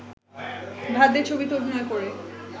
ভাত দে ছবিতে অভিনয় করে